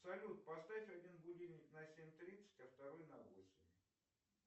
салют поставь один будильник на семь тридцать а второй на восемь